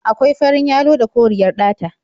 Akwai farin yalo da koriyar ɗata.